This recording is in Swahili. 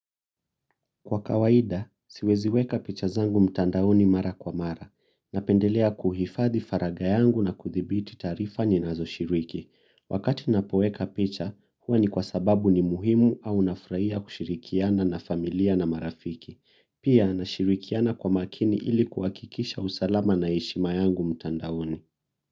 Kwa kawaida, siwezi weka picha zangu mtandaoni mara kwa mara. Napendelea kuhifadhi faraga yangu na kuthibiti taarifa ninazoshiriki. Wakati napoweka picha, huwa ni kwa sababu ni muhimu au nafurahia kushirikiana na familia na marafiki. Pia nashirikiana kwa makini ili kuhakikisha usalama na heshima yangu mtandaoni.